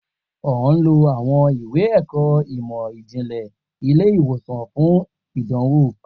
O n lo awọn iwe-ẹkọ imọ-jinlẹ ile-iwosan fun idanwo